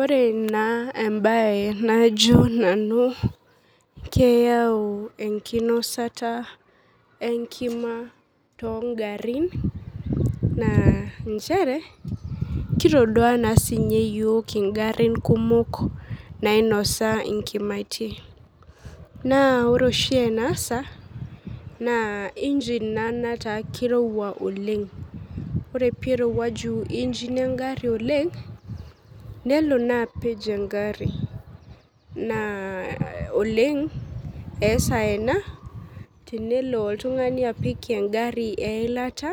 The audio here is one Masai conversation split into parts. Ore naa embaye najo nanu keyau enkinosata enkima tongarrin naa nchere kitodua naa sinye yiok ingarrin kumok nainosa inkimaitie naa ore oshi enasa naa engine naa netaa kirowua oleng ore peirowuaju engine engarri oleng nelo naa apej engarri naa oleng eesa ena tenelo oltung'ani apik engarri eilata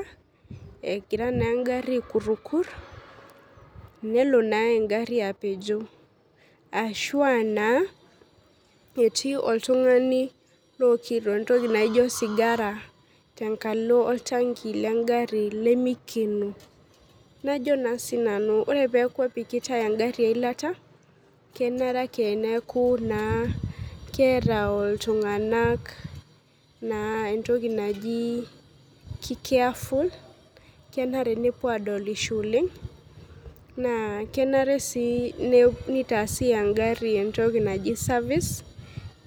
egira naa engarri aekurrukur nelo naa engarri apejo ashua naa etii oltung'ani lookito entoki naijo osigara tenkalo oltanki lengarri lemikeno najo naa sinanu ore peeku epikitae engarri eilata kenare ake neeku naa keeta oltung'anak naa entoki naji ki careful kenare nepuo adolisho oleng naa kenare sii ne nitaasi engarri entoki naji service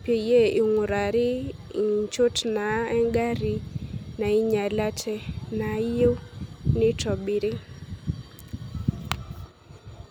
peyie ing'urari inchot naa engarri nainyialata naayieu nitobiri.